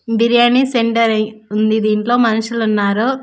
Biryani centre ఉంది దీంట్లో మనుషులు ఉన్నారు.